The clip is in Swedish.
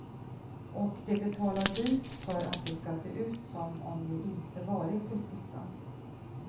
Och de betalar dyrt för att det ska se ut som om de inte varit till frissan.